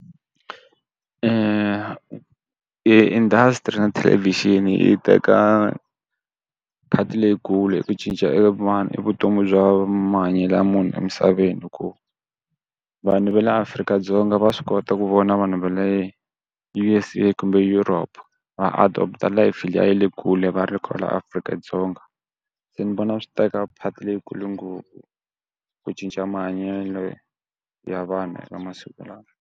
Industry na thelevixini yi teka part-i leyikulu hi ku cinca e vanhu i vutomi bya mahanyelo ya munhu emisaveni hi ku vanhu va le Afrika-Dzonga va swi kota ku vona vanhu va le U_S_A kumbe Europe va adopter life liya ya le kule va ri kwala Afrika-Dzonga. Se ni vona swi teka part leyikulu ngopfu ku cinca mahanyelo ya vanhu va masiku lawa.